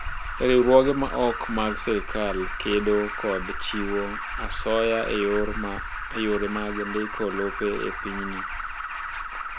Riwruoge ma ok mag sirkal kedo kod chiwo asoya e yore mag ndiko lope e pinyni.